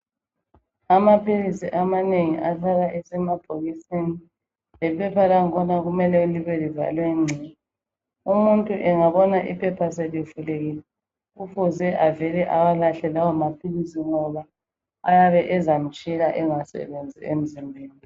Amaphilisi amanengi ahlala esemabhokisini, lephepha langikhona kumele ihlale livaliwe ngci. Umuntu engabona iphepha selivulekile kufuze avele awalahle lawo maphilisi ngoba ayabe ezamtshila angasebenzi emzimbeni.